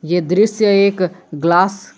ये दृश्य एक ग्लास --